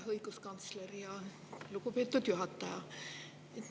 Hea õiguskantsler!